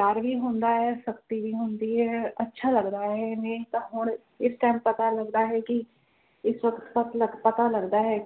R ਵੀ ਹੁੰਦਾ ਹੈ ਸਖਤੀ ਵੀ ਹੁੰਦੀ ਹੈ ਅੱਛਾ ਲੱਗਦਾ ਹੈ ਨਹੀਂ ਤਾ ਹੁਣ ਇਸ ਟਾਈਮ ਪਤਾ ਲੱਗਦਾ ਹੈ ਕਿ ਇਸ ਵਖਤ ਖਤ ਪਤਾ ਲੱਗਦਾ ਹੈ